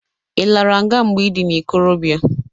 I lara nga mgbe ị dị n'ikorobịa!